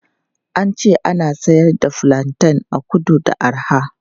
An ce ana siyar da fulanten a kudu da arha.